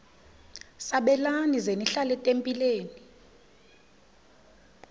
sabelani zenihlal etempileni